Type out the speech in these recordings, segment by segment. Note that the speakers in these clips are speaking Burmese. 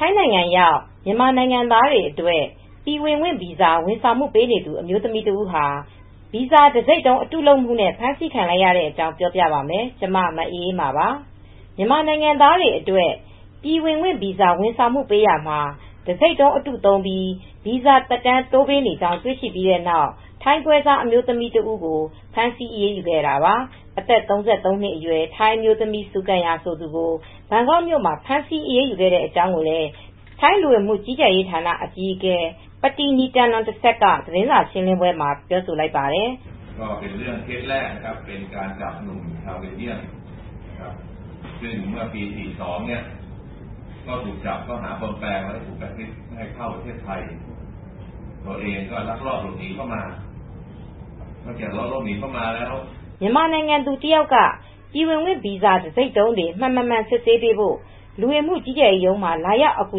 ထိုင်းနိုင်ငံရောက် မြန်မာနိုင်ငံသားတွေအတွက် ပြည်ဝင်ခွင့်ဗီဇာ ဝန်ဆောင်မှုပေးနေသူ အမျိုးသမီးတဦးဟာ ဗီဇာတံဆိပ်တုံး အတုလပ်မှုနဲ့ ဖမ်းဆီးခံလိုက်ရတဲ့အကြောင်း ပြောပြပါမယ်။ ဗွီအိုအေမြန်မာပိုင်းသတင်းထောက် မအေးအေးမာက သတင်းပေးပို့ထားပါတယ်။ မြန်မာနိုင်ငံသားတွေအတွက် ပြည်ဝင်ခွင့်ဗီဇာ ဝန်ဆောင်မှုပေးရာမှာ တံဆိပ်တုံးအတု သုံးပြီး ဗီဇာသက်တမ်း တိုးပေးနေကြောင်း တွေ့ရှိခဲ့ပြီးနောက် ထိုင်းပွဲစားအမျိုးသမီးကို ဖမ်းဆီးအရေးယူခဲ့တာပါ။ အသက် ၃၃ နှစ်အရွယ် ထိုင်းအမျိုးသမီး ဆူကမ်ယာ ဆိုသူကို ဘန်ကောက်မြို့မှာ ဖမ်းဆီးအရေးယူခဲ့တဲ့ အကြောင်းကိုလည်း ထိုင်းလူဝင်မှု ကြီးကြပ်ရေးဌာန အကြီးအကဲ ပတီနီတန်နွန်တဆက်က သတင်းစာရှင်းလင်းပွဲမှာ ပြောဆိုလိုက်ပါတယ်။ မြန်မာနိုင်ငံ သူတယောက်က ပြည်ဝင်ခွင့်ဗီဇာတံဆိပ်တုံးတွေ မှန်-မမှန် စစ်ဆေးပေးဖို့ လူဝင်မှုကြီးကြပ်ရေးရုံးမှာ လာရောက် အကူ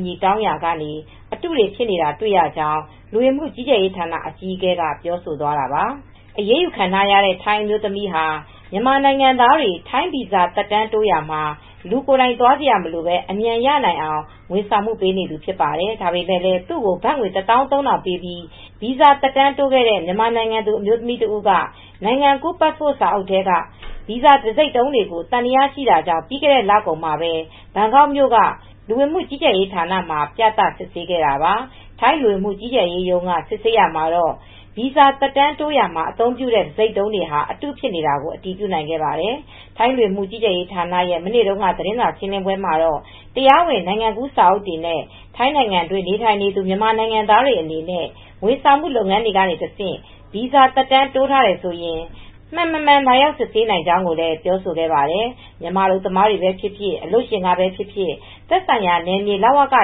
အညီတောင်းရာက အတုတွေ ဖြစ်နေတာတွေ့ရကြောင်း လူဝင်မှုကြီးကြပ်ရေးဌာန အကြီးအကဲက ပြောဆိုသွားတာာပါ။ အရေးယူခံထားရတဲ့ ထိုင်းအမျိုးသမီးဟာ မြန်မာနိုင်ငံသားတွေ ထိုင်းဗီဇာ သက်တမ်းတိုးရာမှာ လူကိုယ်တိုင် သွားစရာမလိုဘဲ အမြန်ရနိုင်အောင် ဝန်ဆောင်မှုပေးနေသူ ဖြစ်ပါတယ်။ ဒါပေမဲ့လည်း သူ့ကို ဘတ်ငွေ ၁၃,၀၀၀ ပေးပြီး ဗီဇာသက်တမ်းတိုးခဲ့တဲ့ မြန်မာနိုင်ငံသူ အမျိုးသမီး တဦးက နိုင်ငံကူးပတ်စ်ပို့စာအုပ်ထဲက ဗီဇာတံဆိပ်တုံးတွေကို သံသယရှိတာကြောင့် ပြီးခဲ့တဲ့ လကုန်မှာပဲ ဘန်ကောက်မြို့က လူဝင်မှုကြီးကြပ်ရေးဌာနမှာ ပြသစစ်ဆေးခဲ့တာပါ။ ထိုင်းလူဝင်မှုကြီးကြပ်ရေးရုံးက စစ်ဆေးရာမှာတော့ ဗီဇာသက်တမ်းတိုးရာမှာ အသုံးပြုတဲ့ တံဆိပ်တုံးတွေဟာ အတုဖြစ်နေတာကို အတည်ပြုနိုင်ခဲ့ပါတယ်။ ထိုင်းလူဝင်မှုကြီးကြပ်ရေးဌာနရဲ့ မနေ့တုန်းက သတင်းစာရှင်းလင်းပွဲမှာတော့ တရားဝင်နိုင်ငံကူး စာအုပ်တွေနဲ့ ထိုင်းနိုင်ငံတွင်း နေထိုင်နေသူ မြန်မာနိုင်ငံသားတွေ အနေနဲ့ ဝန်ဆောင်မှုလုပ်ငန်းတွေကတဆင့် ဗီဇာသက်တမ်း တိုးထားတယ်ဆိုရင် မှန်-မမှန် လာရောက်စစ်ဆေးနိုင်ကြောင်းလည်း ပြောဆိုခဲ့ပါတယ်။ မြန်မာအလုပ်သမားတွေပဲဖြစ်ဖြစ်၊ အလုပ်ရှင်ကပဲဖြစ်ဖြစ် သက်ဆိုင်ရာနယ်မြေ လဝက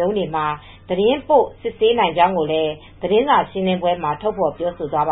ရုံးတွေမှာ သတင်းပို့ စစ်ဆေးနိုင်ကြောင်းလည်း သတင်းစာရှင်လင်းပွဲမှာ ထုတ်ဖော်ပြောဆိုသွားပါ